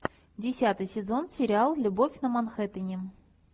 десятый сезон сериал любовь на манхэттене